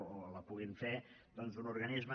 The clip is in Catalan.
o la pugui fer un organisme